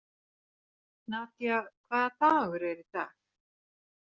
Nadia, hvaða dagur er í dag?